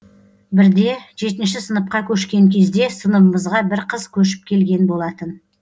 бірде жетінші сыныпқа көшкен кезде сыныбымызға бір қыз көшіп келген болатын